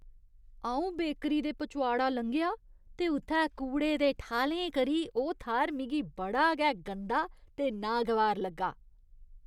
अऊं बेकरी दे पचोआड़ा लंघेआ ते उत्थै कूड़े दे ठालें करी ओह् थाह्‌र मिगी बड़ा गै गंदा ते नागवार लग्गा ।